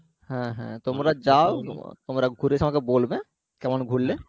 হ্যাঁ হ্যাঁ তোমরা যাও তোমরা ঘুরে এসে আমাকে বলবে কেমন ঘুরলে